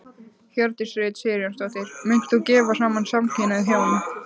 Hjördís Rut Sigurjónsdóttir: Munt þú gefa saman samkynhneigð hjón?